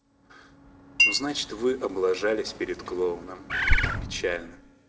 ну значит вы облажались перед клоуном печально